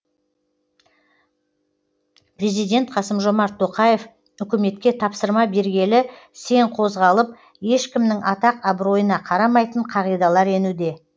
президент қасым жомарт тоқаев үкіметке тапсырма бергелі сең қозғалып ешкімнің атақ абыройына қарамайтын қағидалар енуде